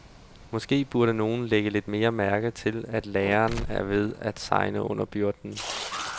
Måske burde nogen lægge lidt mere mærke til, at lærerne er ved at segne under byrden.